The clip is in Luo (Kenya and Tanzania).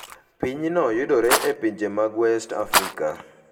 Pinyno yudore e pinje mag West Africa.